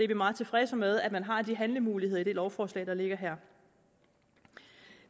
meget tilfredse med at man har de handlemuligheder i det lovforslag der ligger her